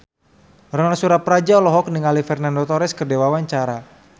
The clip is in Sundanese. Ronal Surapradja olohok ningali Fernando Torres keur diwawancara